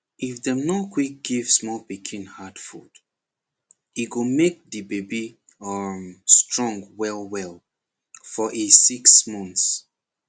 if dem nor quick give small pikin hard food e go make de baby um strong well well for e six months